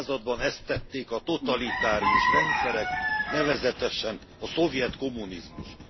században ezt tették a totalitárius rendszerek, nevezetesen a szovjet kommunizmus.